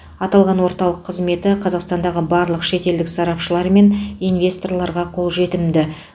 аталған орталық қызметі қазақстандағы барлық шетелдік сарапшылар мен инвесторларға қолжетімді